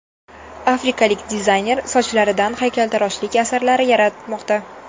Afrikalik dizayner sochlaridan haykaltaroshlik asarlari yaratmoqda .